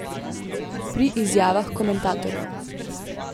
Pri izjavah komentatorjev.